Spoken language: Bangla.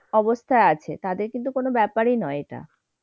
অবস্থায় আছে। তাদের কিন্তু কোন ব্যাপারই নয় এটা।